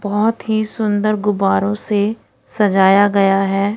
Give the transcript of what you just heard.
बहुत ही सुंदर गुब्बारों से सजाया गया हैं।